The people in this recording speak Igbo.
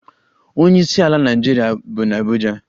Onyeisiala Naịjirịa bi n'Abuja